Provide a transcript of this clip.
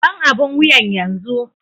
Ban abun wuyan yanzu!